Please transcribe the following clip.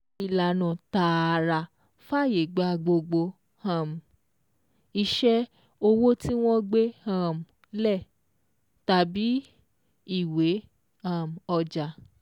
Ìlànà tààrà fàyè gba gbogbo um iṣẹ́ owó tí wọ́n gbé um lẹ̀, tàbí ìwé um ọjà